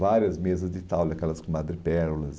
Várias mesas de taule, aquelas com madre pérolas.